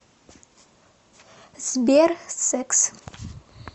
сбер секс